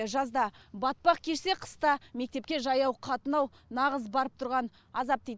жазда батпақ кешсе қыста мектепке жаяу қатынау нағыз барып тұрған азап дейді